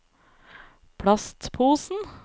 plastposen